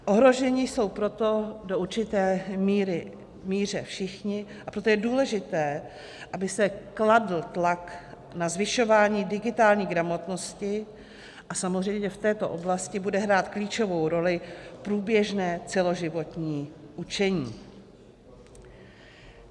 Ohroženi jsou proto v určité míře všichni, a proto je důležité, aby se kladl tlak na zvyšování digitální gramotnosti, a samozřejmě v této oblasti bude hrát klíčovou roli průběžné celoživotní učení.